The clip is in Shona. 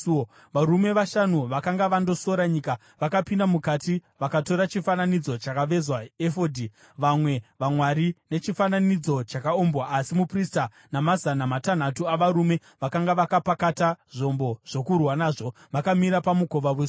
Varume vashanu vakanga vandosora nyika vakapinda mukati vakatora chifananidzo chakavezwa, efodhi, vamwe vamwari nechifananidzo chakaumbwa asi muprista namazana matanhatu avarume vakanga vakapakata zvombo zvokurwa nazvo vakamira pamukova wesuo.